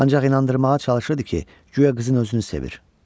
Ancaq inandırmağa çalışırdı ki, guya qızın özünü sevir.